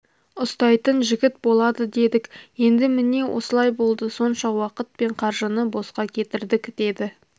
ұстайтын жігіт болады дедік енді міне осылай болды сонша уақыт пен қаржыны босқа кетірдік деді